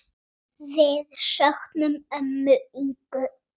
Við söknum ömmu Ingu.